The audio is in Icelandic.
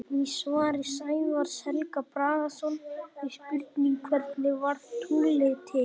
Í svari Sævars Helga Bragasonar við spurningunni Hvernig varð tunglið til?